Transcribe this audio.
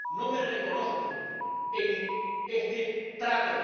no me reconozco en este trato.